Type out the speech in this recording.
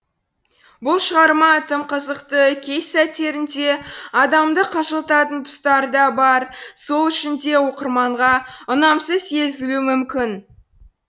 бұл шығарма тым қызықты кей сәттерінде адамды қынжылтатын тұстары да бар сол үшін де оқырманға ұнамсыз сезілуі мүмкін